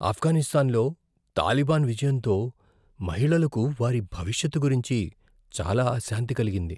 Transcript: ఆఫ్ఘనిస్తాన్లో తాలిబాన్ విజయంతో మహిళలకు వారి భవిష్యత్తు గురించి చాలా అశాంతి కలిగింది.